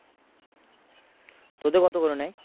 তোদের কত করে নেয়?